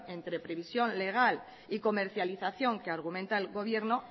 entre previsión legal y comercialización que argumenta el gobierno